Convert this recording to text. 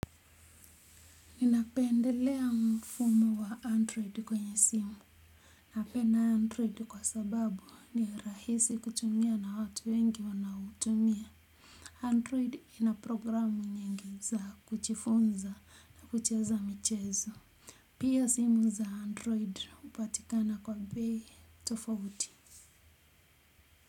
Ninapendelea mfumo wa android kwenye simu napenda android kwa sababu ni rahisi kutumia na watu wengi wanautumia Android ina programu nyingi za kujifunza na kucheza michezo. Pia simu za android hupatikana kwa bei tofauti.